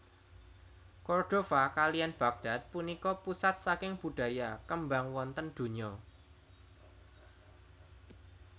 Cordova kaliyan Baghdad punika pusat saking budaya kembang wonten dunya